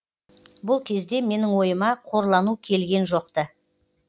бұл кезде менің ойыма қорлану келген жоқ ты